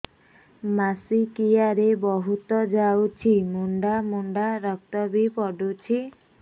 ମାସିକିଆ ରେ ବହୁତ ଯାଉଛି ମୁଣ୍ଡା ମୁଣ୍ଡା ରକ୍ତ ବି ପଡୁଛି